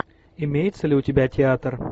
имеется ли у тебя театр